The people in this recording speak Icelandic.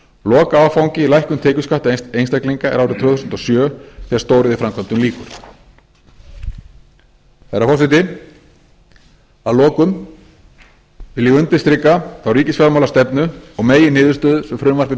lokaáfangi í lækkun tekjuskatta einstaklinga er árið tvö þúsund og sjö þegar stóriðjuframkvæmdum lýkur herra forseti að lokum vil ég undirstrika þá ríkisfjármálastefnu og meginniðurstöðu sem frumvarpið